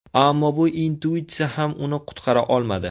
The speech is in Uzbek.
Ammo bu intuitsiya ham uni qutqara olmadi.